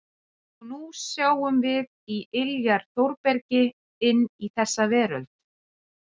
Og nú sjáum við í iljar Þórbergi inn í þessa veröld.